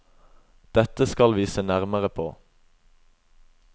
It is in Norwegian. Dette skal vi se nærmere på.